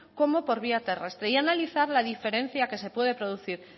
como por vía terrestre y analizar la diferencia que se puede producir